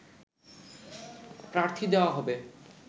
প্রার্থী দেয়া হবে